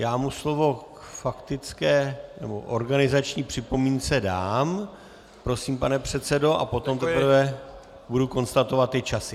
Já mu slovo k faktické nebo organizační připomínce dám - prosím, pane předsedo - a potom teprve budu konstatovat ty časy.